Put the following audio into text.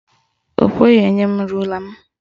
Ọ kweghị inye rula m.